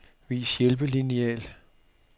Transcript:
Vis hjælpelineal.